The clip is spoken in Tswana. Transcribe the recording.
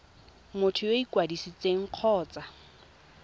motho yo o ikwadisitseng kgotsa